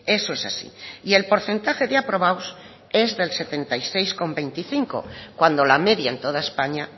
eso es así y el porcentaje de aprobados es del setenta y seis coma veinticinco cuando la media en toda españa